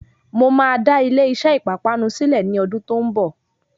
Mo máa dá ilé iṣé ìpápánu sílẹ ní ọdún tó ń bọ̀.